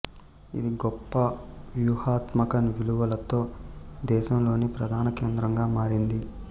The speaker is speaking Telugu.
ఇది గొప్ప వ్యూహాత్మక విలువలతో దేశంలోని ప్రధాన కేంద్రంగా మారింది